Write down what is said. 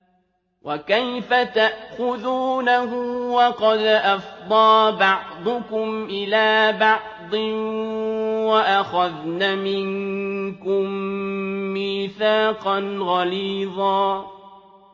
وَكَيْفَ تَأْخُذُونَهُ وَقَدْ أَفْضَىٰ بَعْضُكُمْ إِلَىٰ بَعْضٍ وَأَخَذْنَ مِنكُم مِّيثَاقًا غَلِيظًا